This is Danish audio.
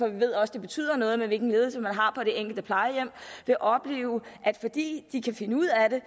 ved også det betyder noget hvilken ledelse man har på det enkelte plejehjem vil opleve at fordi de kan finde ud af det